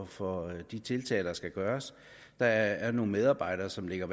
for de tiltag der skal gøres der er nogle medarbejdere som ligger